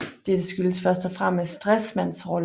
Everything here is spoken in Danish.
Dette skyldtes først og fremmest Stresemanns rolle